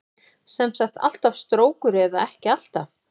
Sem sagt alltaf strókur eða ekki alltaf?